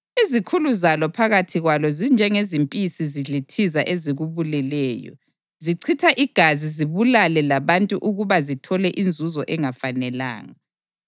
Izikhulu zalo phakathi kwalo zinjengezimpisi zidlithiza ezikubuleleyo; zichitha igazi zibulale labantu ukuba zithole inzuzo engafanelanga.